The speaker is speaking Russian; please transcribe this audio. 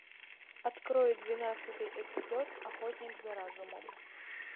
открой двенадцатый эпизод охотник за разумом